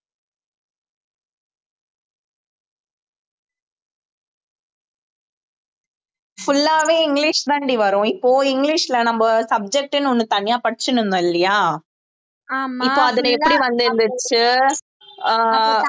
full ஆவே English தாண்டி வரும் இப்போ இங்கிலிஷ்ல நம்ம subject ன்னு ஒண்ணு தனியா படிச்சுட்டு இருந்தோம் இல்லையா இப்ப அதுல எப்படி வந்திருந்துச்சு ஆஹ்